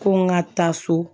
Ko n ka taa so